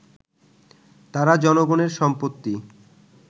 তারা জনগণের সম্পত্তি